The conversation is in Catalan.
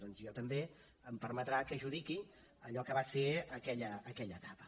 doncs a mi també em permetrà que judiqui allò que va ser aquella etapa